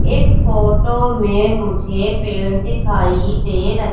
इस फोटो में मुझे पेड़ दिखाई दे रहे--